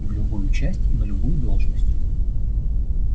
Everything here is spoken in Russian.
в любую часть и на любую должность